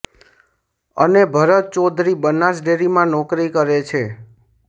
અને ભરત ચૌધરી બનાસ ડેરીમાં નોકરી કરે છે